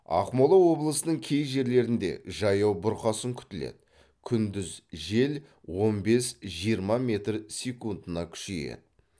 ақмола облысының кей жерлерінде жаяу бұрқасын күтіледі күндіз жел он бес жиырма метр секундына күшейеді